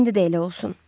İndi də elə olsun.